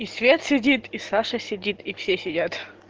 и свет сидит и саша сидит и все сидят